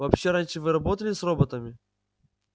вообще раньше вы работали с роботами